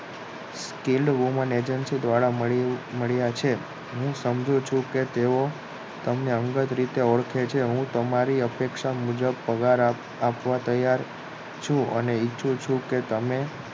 ટીલું Woman agency દ્વારા મળ્યા છે હું સમજુ છું કે તેઓ તમને અંગત રીતે ઓળખે છે હું તમારી અપેક્ષા મુજબ પગાર આપવા તૈયાર છું અને ઇચ્છુ છું કે